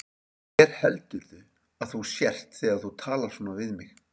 Hver heldurðu að þú sért þegar þú talar svona við mig?